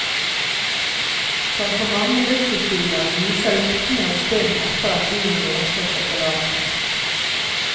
Som på mange luksusbiler, lyser lyktene en stund etter at bilen låses og forlates.